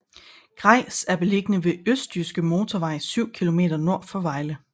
Grejs er beliggende ved Østjyske Motorvej syv kilometer nord for Vejle